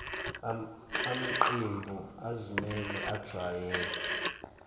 amqembu azimele ajwayele